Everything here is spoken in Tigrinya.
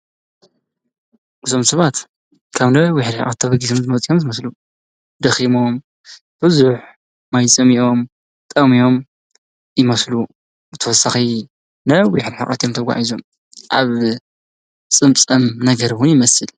እዞም ሰባት ካብ ነዊሕ ርሕቀት ተበጊሶም ዝመፁ እዮም ዝመስሉ ፤ ደኺሞም ፣ብዙሕ ማይ ፀሚኦም፣ ጠምዮም ይመስሉ፡፡ ብተወሳኺ ነዊሕ ርሕቀት እዮም ተጓዒዞም። አብ ፀምፀም ነገር እውን ይመስል፡፡